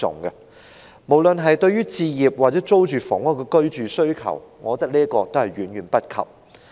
從滿足市民對置業或租住房屋的居住需求來說，我覺得這都是遠未能及的。